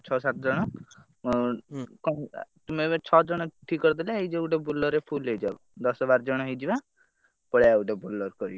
ସାତ ଜଣ ତୁମେ ଏବେ ଛ ଜଣ ଠିକ କରିଦେଲେ ହେଇଯିବ ଗୋଟେ Bolero ରେ ଫୁଲ ହେଇଯାଉ ଦଶ ବାର ଜଣ ହେଇଯିବା ପଳେଇଆ ଗୋଟେ Bolero କରିକି।